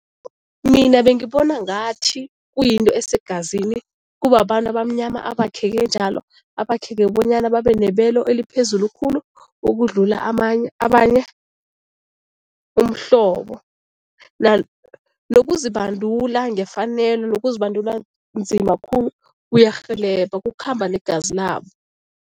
Mina bengibona ngathi kuyinto esegazini. Kubabantu abamnyama abakheke njalo, abakheke bonyana babe nebelo eliphezulu khulu ukudlula amanye abanye umhlobo. Nokuzibandula ngefanelo nokuzibandula nzima khulu kuyarhelebha, kukhamba negazi labo.